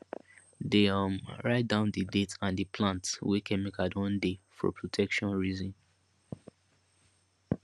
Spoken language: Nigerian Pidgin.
dey um write down di date and di plant wey chemical don dey for protection reason